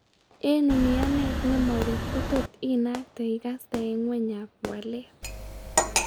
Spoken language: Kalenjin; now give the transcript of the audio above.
Eng' umianet nemabek kotot inakte akikaste eng' ngweny ab waleet